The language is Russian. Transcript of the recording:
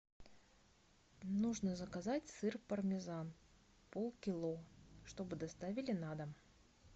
нужно заказать сыр пармезан полкило чтобы доставили на дом